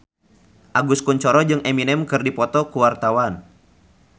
Agus Kuncoro jeung Eminem keur dipoto ku wartawan